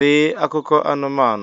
Dee akụkọ anumanu!